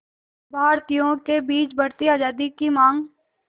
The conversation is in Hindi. भारतीयों के बीच बढ़ती आज़ादी की मांग